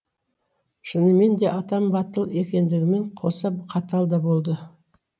шыныменде атам батыл екендігімен қоса қатал да болды